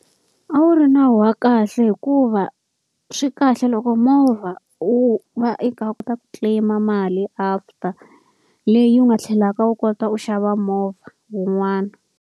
A wu ri nawu wa kahle hikuva swi kahle loko movha u va kota ku claim-a mali after, leyi u nga tlhelaka u kota u xava movha wun'wana.